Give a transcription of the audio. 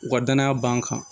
U ka danaya b'an kan